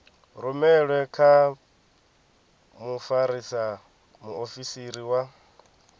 rumelwe kha mfarisa muofisiri wa